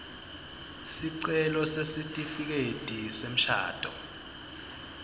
sicelo sesitifiketi semshado